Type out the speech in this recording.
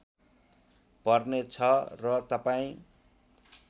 पर्ने छ र तपाईँ